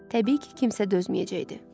Təbii ki, kimsə dözməyəcəkdi.